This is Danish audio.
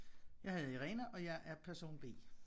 Jeg hedder Irene og jeg er person B